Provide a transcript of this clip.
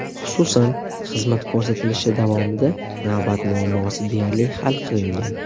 Xususan, xizmat ko‘rsatilishi davomida navbat muammosi deyarli hal qilingan.